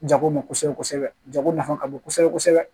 Jago mɛn kosɛbɛ kosɛbɛ jago nafa ka bon kosɛbɛ kosɛbɛ